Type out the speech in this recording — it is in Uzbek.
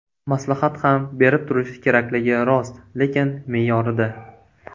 Maslahat ham berib turish kerakligi rost, lekin me’yorida.